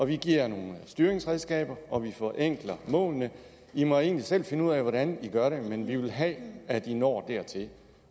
vi giver nogle styringsredskaber og vi forenkler målene de må egentlig selv finde ud af hvordan de gør det men vi vil have at de når dertil